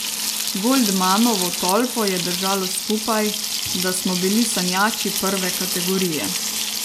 Goldmanovo tolpo je držalo skupaj, da smo bili sanjači prve kategorije.